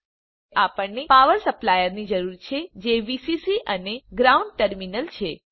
હવે આપણને power supply ની જરૂર છે જે વીસીસી અને ગ્રાઉન્ડ ટર્મિનલ છે